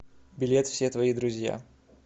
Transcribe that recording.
билет все твои друзья